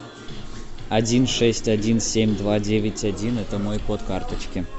один шесть один семь два девять один это мой код карточки